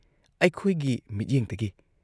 ꯑꯩꯈꯣꯏꯒꯤ ꯃꯤꯠꯌꯦꯡꯗꯒꯤ ꯫